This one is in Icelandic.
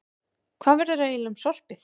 Hvað verður eiginlega um sorpið?